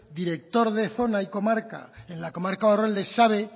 director de zona y comarca en la comarca barrualde sabe